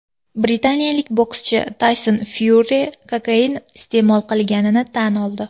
Britaniyalik bokschi Tayson Fyuri kokain iste’mol qilganini tan oldi.